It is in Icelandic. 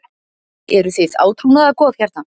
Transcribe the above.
Eruð þið átrúnaðargoð hérna?